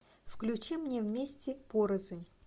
включи мне вместе порознь